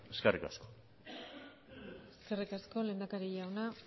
eskerrik asko eskerrik asko lehendakari jauna